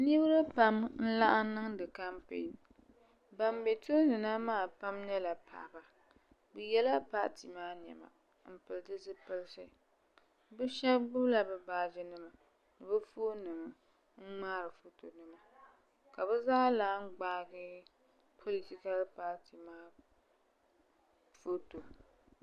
niraba pam n laɣam niŋdi kampɛn ban bɛ tooni na maa nyɛla paɣaba bi yɛla paati maa niɛma n pili di zipiliti bi shab gbubila bi baaji nima ni bi foon nima n ŋmahariba ka bi zaa lahi gbaagi politikal paati maa foto